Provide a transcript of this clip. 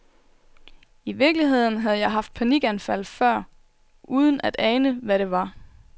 I virkeligheden havde jeg haft panikanfald før uden at ane, hvad det var.